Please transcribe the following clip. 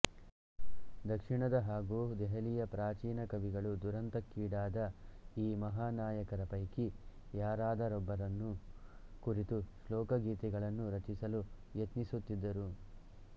ದಕ್ಷಿಣದ ಹಾಗು ದೆಹಲಿಯ ಪ್ರಾಚೀನ ಕವಿಗಳು ದುರಂತಕ್ಕೀಡಾದ ಈ ಮಹಾ ನಾಯಕರ ಪೈಕಿ ಯಾರದರೊಬ್ಬರನ್ನು ಕುರಿತು ಶೋಕಗೀತೆಗಳನ್ನು ರಚಿಸಲು ಯತ್ನಿಸುತ್ತಿದ್ದರು